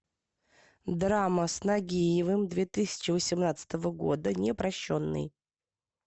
драма с нагиевым две тысячи восемнадцатого года непрощенный